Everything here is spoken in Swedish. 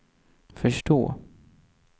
förstå